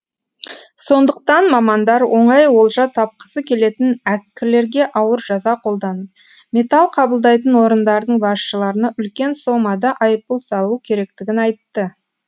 сондықтан мамандар оңай олжа тапқысы келетін әккілерге ауыр жаза қолданып металл қабылдайтын орындардың басшыларына үлкен сомада айыппұл салу керектігін айтты